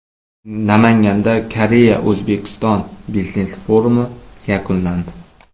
Namanganda KoreyaO‘zbekiston biznes forumi yakunlandi .